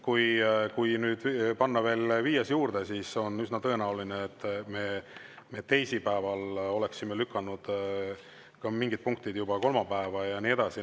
Kui panna veel viies juurde, siis on üsna tõenäoline, et me peame mingid teisipäevased punktid lükkama juba kolmapäevale ja nii edasi.